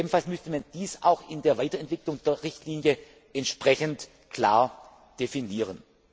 Gegebenenfalls müsste man dies auch in der Weiterentwicklung der Richtlinie entsprechend klar definieren.